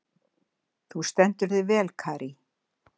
Þú stendur þig vel, Karí!